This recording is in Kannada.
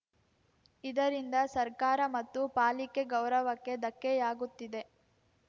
ಇದರಿಂದ ಸರ್ಕಾರ ಮತ್ತು ಪಾಲಿಕೆ ಗೌರವಕ್ಕೆ ಧಕ್ಕೆಯಾಗುತ್ತಿದೆ